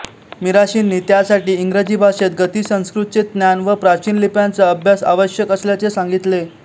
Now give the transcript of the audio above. मिराशींनी त्यासाठी इंग्रजी भाषेत गती संस्कृतचे ज्ञान व प्राचीन लिप्यांचा अभ्यास आवश्यक असल्याचे सांगितले